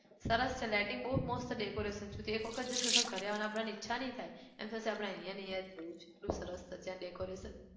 સરસ છે lighting બહુ મસ્ત decoration તું એક વખત જઈશ ને તો ઘરે આવાની આપણને ઈચ્છા નહિ થાય. એમ થશે કે આપણે અહિયાંને અહીંયા જ રહેવું છે એટલું સરસ ત્યાં decoration